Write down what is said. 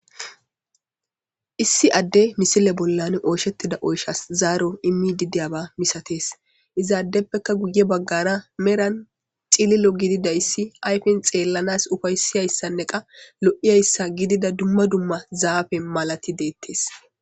Issi adde misile bollan ooshettida oyshas zaaro immi dideyaba misatees izaaddeppeka guye baggara meran cililo gididayssi ayfen xeellanas ufaysiyayssanne qa lo'iyayssa gidida dumma dumma zaafe malati deettes.